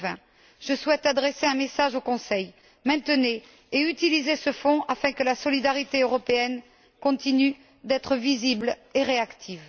2020. Je souhaite adresser un message au Conseil maintenez et utilisez ce fonds afin que la solidarité européenne continue d'être visible et réactive.